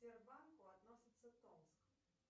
сбербанку относится томск